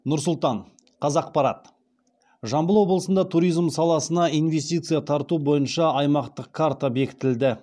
нұр сұлтан қазақпарат жамбыл облысында туризм саласына инвестиция тарту бойынша аймақтық карта бекітілді